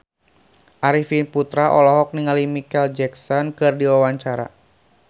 Arifin Putra olohok ningali Micheal Jackson keur diwawancara